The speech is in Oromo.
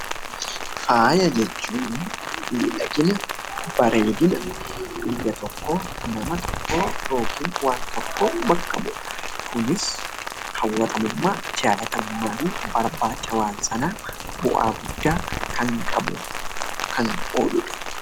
Faaya jechuun midhaginaa, bareedinaa biyyaa tokko, nama tokko yookiin waan tokko bakka bu'uudha. Kunis hawwatamummaa, jalatamummaa fi barbachaa hawaasa sana bu'aa guddaa kan qabuu fi kan oluudha.